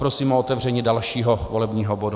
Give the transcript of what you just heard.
Prosím o otevření dalšího volebního bodu.